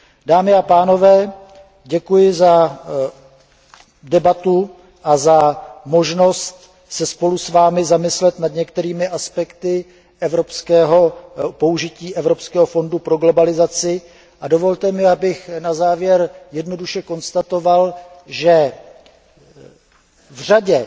Dámy a pánové, děkuji za debatu a za možnost se spolu s vámi zamyslet nad některými aspekty použití Evropského fondu pro přizpůsobení se globalizaci a dovolte mi, abych na závěr jednoduše konstatoval, že v